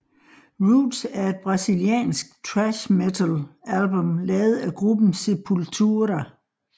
Roots er et Brasiliansk thrash metal album lavet af gruppen Sepultura